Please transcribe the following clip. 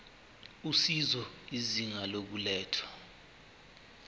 usizo izinga lokulethwa